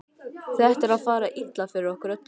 Það er að fara illa fyrir okkur öllum.